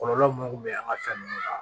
Kɔlɔlɔ mun kun bɛ an ka fɛn nunnu la